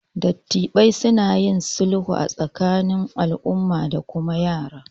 Dattibai suna yin sulhu a tsakanin al'umma da kuma yara